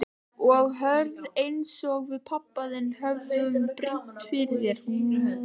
Og hörð einsog við pabbi þinn höfum brýnt fyrir þér.